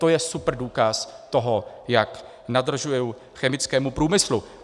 To je super důkaz toho, jak nadržuji chemickému průmyslu.